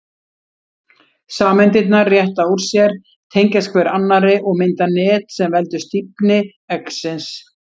Sameindirnar rétta úr sér, tengjast hver annarri og mynda net sem veldur stífni eggsins.